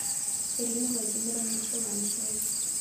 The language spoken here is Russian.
ирины владимировны силантьевой